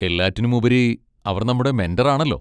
എല്ലാത്തിനുമുപരി, അവർ നമ്മുടെ മെന്റർ ആണല്ലോ.